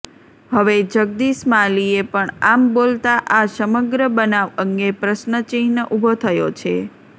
હવે જગદીશ માલીએ પણ આમ બોલતાં આ સમગ્ર બનાવ અંગે પ્રશ્નચિહ્ન ઊભો થયો છે